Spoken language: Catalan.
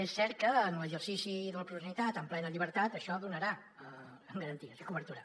és cert que en l’exercici de la professionalitat en plena llibertat això donarà garanties i cobertura